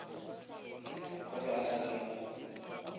o be a sa lemoge